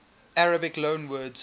arabic loanwords